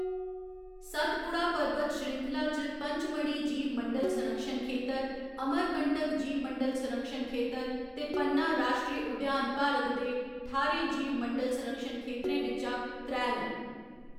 सतपुड़ा पर्बत श्रृंखला च पचमढ़ी जीवमंडल संरक्षण खेतर, अमरकंटक जीवमंडल संरक्षण खेतर ते पन्ना राश्ट्री उद्यान भारत दे ठाह्‌रें जीवमंडल संरक्षण खेतरें बिच्चा त्रै न।